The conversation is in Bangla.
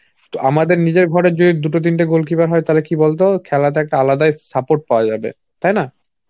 আমাদের নিজের ঘরে যদি দুটো তিনটে goalkeeper হয় তাহলে কি বলতো খেলাতে একটা আলাদা support পাওয়া যাবে. তাই না?